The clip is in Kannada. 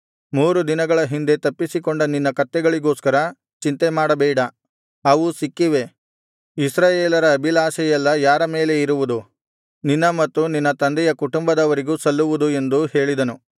ಮೂರು ದಿನಗಳ ಹಿಂದೆ ತಪ್ಪಿಸಿಕೊಂಡ ನಿನ್ನ ಕತ್ತೆಗಳಿಗೋಸ್ಕರ ಚಿಂತೆಮಾಡಬೇಡ ಅವು ಸಿಕ್ಕಿವೆ ಇಸ್ರಾಯೇಲರ ಅಭಿಲಾಷೆಯೆಲ್ಲಾ ಯಾರ ಮೇಲೆ ಇರುವುದು ನಿನ್ನ ಮತ್ತು ನಿನ್ನ ತಂದೆಯ ಕುಟುಂಬದವರಿಗೂ ಸಲ್ಲುವುದು ಎಂದು ಹೇಳಿದನು